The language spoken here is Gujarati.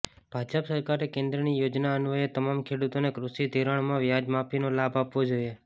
ભાજપ સરકારે કેન્દ્રની યોજના અન્વયે તમામ ખેડુતોને કૃષિ ધિરાણમાંવ્યાજ માફીનો લાભ આપવો જોઇએ